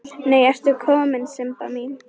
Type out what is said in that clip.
Nei ertu komin Sibba mín!